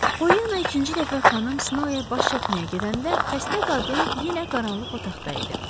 Polyanna ikinci dəfə xanım Snoya baş çəkməyə gedəndə xəstə qadın yenə qaranlıq otaqda idi.